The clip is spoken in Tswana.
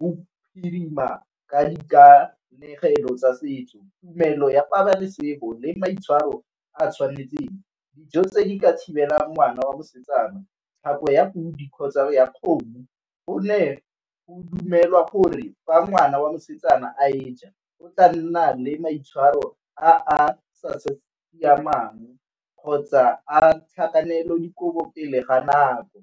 bophirima ka dikanegelo tshelo tsa setso. Tumelo ya pabalesego le maitshwaro a tshwanetseng, dijo tse di ka thibela ngwana wa mosetsana ya podi kgotsa ya kgomo gonne o dumelwa gore ba ngwana wa mosetsana a e ja o tla nna le maitshwaro a a sa siamang kgotsa a tlhakanelo dikobo pele ga nako.